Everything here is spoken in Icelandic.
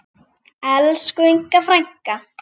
Elsku Inga frænka.